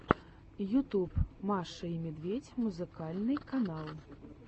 ютюб маша и медведь музыкальный канал